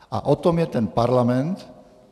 A o tom je ten parlament.